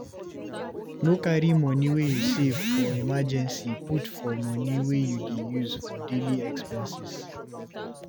No carry money wey you save for emergency put for money wey you dey use for daily expenses